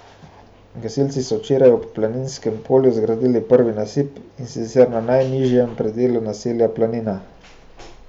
Gasilci so včeraj ob Planinskem polju zgradili prvi nasip, in sicer na najnižjem predelu naselja Planina.